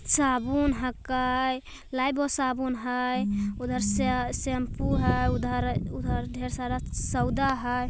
साबुन हकई लाइफबॉय साबुन हैं । उधर श शैम्पू हैं उधर-उधर ढेर सारा सौदा हैं ।